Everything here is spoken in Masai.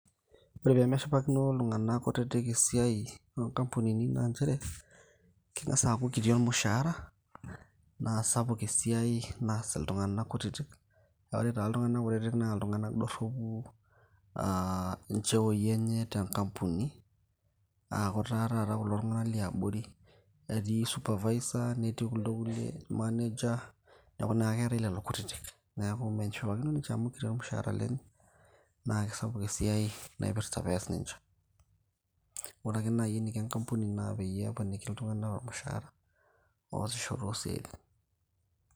ore peemeshipakino iltung'anak kutitik esiai oonkampunini naa nchere, keng'as aaku kiti ormushaara naa sapuk esiai naas iltung'anak kutitik aa ore taa iltung'anak kutitik naa iltung'ana dorropu aa incheoi enye tenkampuni aaku taa taata kulo tung'anak liabori etii supervisor netii kuldo kulie manager neeku naa keetay lelo kutitik neeku meshipakino ninche amu kiti ormushaara lenye naa kisapuk naipirrta pees ninche, ore ake naaji eniko enkapuni naa peyie eponiki iltung'anak ormushaara oosisho toosiaitin.